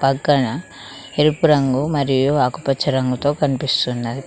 ఇక్కడ ఎరుపు రంగు మరియు ఆకుపచ్చ రంగుతో కనిపిస్తుంది.